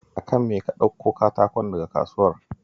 A kan me ka ɗakko katakon daga kasuwar?